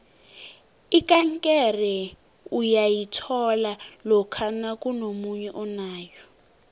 ikankere uyayithola lokha nakunomunye onayo